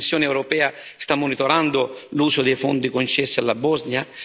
La Commissione europea sta monitorando l'uso dei fondi concessi alla Bosnia?